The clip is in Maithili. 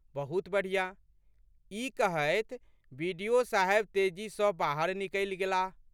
बहुत बढ़िया। ",ई कहैत बि.डि.ओ.साहब तेजी सँ बाहर निकलि गेलाह।